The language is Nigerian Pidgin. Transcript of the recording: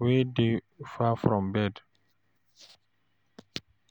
wey dey far from bed